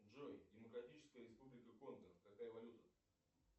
джой демократическая республика конго какая валюта